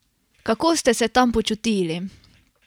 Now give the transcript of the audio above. Kako ste se tam počutili?